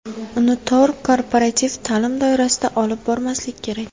Uni tor korporativ ta’lim doirasida olib bormaslik kerak.